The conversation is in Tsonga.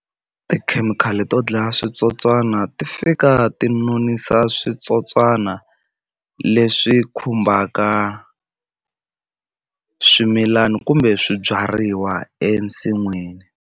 Tikhemikhali to dlaya switsotswana ti fika ti nonisa switswotswana leswi khumbaka swimilana kumbe swibyariwa ensin'wini.